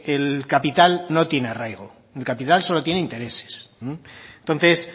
el capital no tiene arraigo el capital solo tiene interés entonces